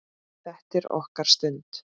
Þetta er okkar stund.